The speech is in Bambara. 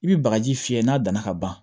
I bɛ bagaji fiyɛ n'a danna ka ban